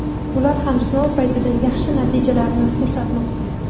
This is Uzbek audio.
ular ham sinov paytida yaxshi natijalarni ko‘rsatmoqda.